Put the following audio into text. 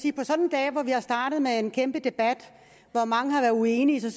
jeg startede med en kæmpe debat hvor mange var uenige er